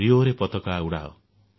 ରିଓରେ ପତାକା ଉଡାଅ